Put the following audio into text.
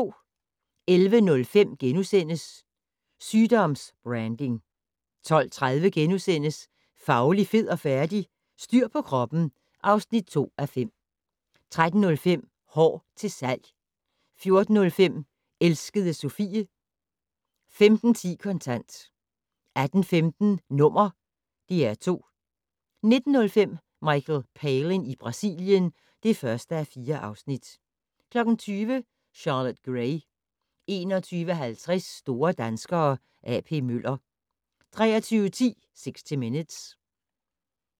11:05: Sygdoms-branding * 12:30: Fauli, fed og færdig? - Styr på kroppen (2:5)* 13:05: Hår til salg 14:05: Elskede Sophie 15:10: Kontant 18:15: #DR2 19:05: Michael Palin i Brasilien (1:4) 20:00: Charlotte Gray 21:50: Store danskere - A.P. Møller 23:10: 60 Minutes